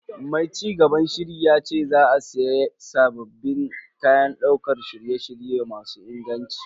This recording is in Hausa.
Mai cigaban shirin yace za a siya sabbin kayan daukar shirye-shirye masu inganci.